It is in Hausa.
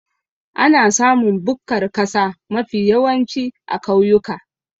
Ana samun bukkar kasa mafi yawanci a kauyuka